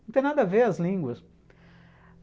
Não tem nada a ver as línguas.